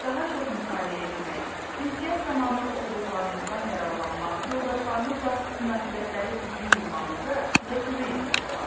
Daha çox mütaliə etmək, ünsiyyət zamanı oxuduqlarınızdan yararlanmaq, yoldaşlarınızla münasibətləri düzgün qurmağınıza sizə kömək etmiş olar.